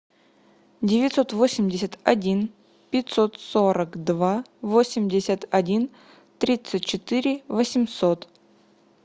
девятьсот восемьдесят один пятьсот сорок два восемьдесят один тридцать четыре восемьсот